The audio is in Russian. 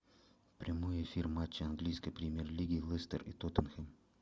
прямой эфир матча английской премьер лиги лестер и тоттенхэм